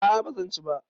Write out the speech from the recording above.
A a ba zan ci ba.